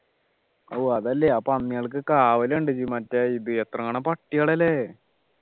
ഓ അതല്ലേ അപ്പൊ ആ പന്നികൾക്ക് കാവലുണ്ട് മറ്റേ എത്രങ്ങാനും പട്ടികളാ അല്ലെ